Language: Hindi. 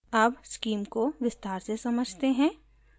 अब उस स्कीम को विस्तार से समझते हैं